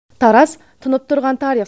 тараз тұнып тұрған тарих